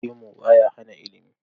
Gemu ba ya hana ilimi.